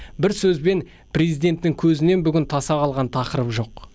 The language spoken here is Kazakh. бір сөзбен президенттің көзінен бүгін таса қалған тақырып жоқ